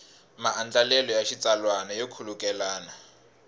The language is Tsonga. maandlalelo ya xitsalwana yo khulukelana